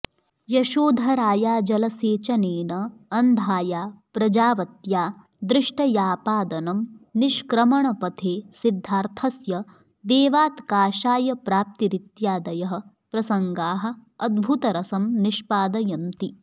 यशोधराया जलसेचनेन अन्धाया प्रजावत्या दृष्टयापादनं निष्क्रमणपथे सिद्धार्थस्य देवात् काषायप्राप्तिरित्यादयः प्रसंगाः अद्भुतरसं निष्पादयन्ति